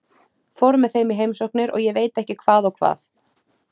Fór með þeim í heimsóknir og ég veit ekki hvað og hvað.